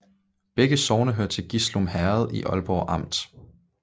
Begge sogne hørte til Gislum Herred i Aalborg Amt